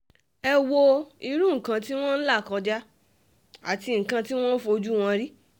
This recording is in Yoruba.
ẹ wo irú nǹkan tí wọ́n ń là kọjá àti nǹkan tí wọ́n ń fojú wí